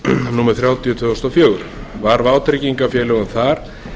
númer þrjátíu tvö þúsund og fjögur var vátryggingarfélögum þar